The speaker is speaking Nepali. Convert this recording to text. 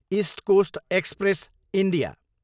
east Coast Express, India